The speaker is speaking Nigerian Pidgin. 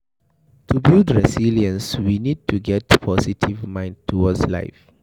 To build resilience we need to get positive mind towards life